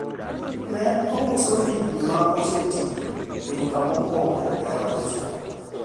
en ousoga ndigni ma osetiyo e duka mokwongo e od cha